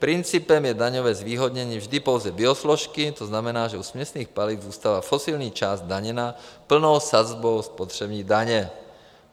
Principem je daňové zvýhodnění vždy pouze biosložky, to znamená, že u směsných paliv zůstává fosilní část zdaněna plnou sazbou spotřební daně.